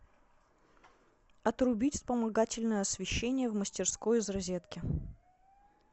отрубить вспомогательное освещение в мастерской из розетки